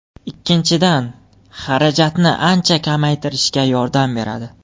Ikkinchidan, xarajatni ancha kamaytirishga yordam beradi.